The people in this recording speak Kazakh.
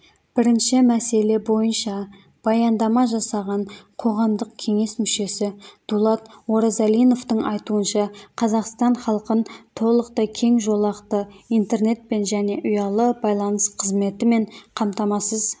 бірінші мәселе бойынша баяндама жасаған қоғамдық кеңес мүшесі дулат оразалиновтың айтуынша қазақстан халқын толықтай кеңжолақты интернетпен және ұялы байланыс қызметімен қамтамасыз